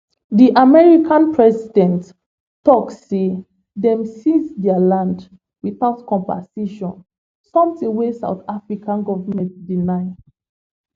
di american president tok say dem seize dia land without compensation something wey south african goment deny